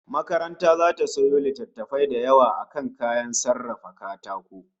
Makaranta zata sayo littattafai da yawa akan kayan sarrafa katako